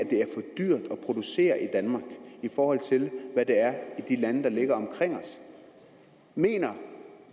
producere i danmark i forhold til hvad det er i de lande der ligger omkring os mener